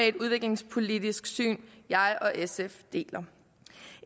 et udviklingspolitisk syn jeg og sf deler